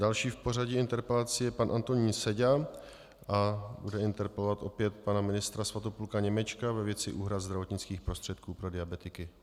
Další v pořadí interpelací je pan Antonín Seďa a bude interpelovat opět pana ministra Svatopluka Němečka ve věci úhrad zdravotnických prostředků pro diabetiky.